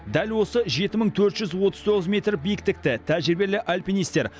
дәл осы жеті мың төрт жүз отыз тоғыз метр биіктікті тәжірибелі альпинистер